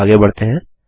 आगे बढ़ते हैं